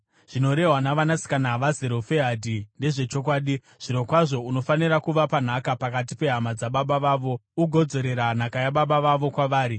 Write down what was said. “Zvinorehwa navanasikana vaZerofehadhi ndezvechokwadi. Zvirokwazvo unofanira kuvapa nhaka pakati pehama dzababa vavo ugodzorera nhaka yababa vavo kwavari.